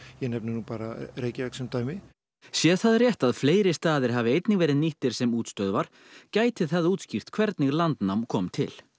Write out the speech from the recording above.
ég nefni nú bara Reykjavík sem dæmi sé það rétt að fleiri staðir hafi einnig verið nýttir sem útstöðvar gæti það útskýrt hvernig landnám kom til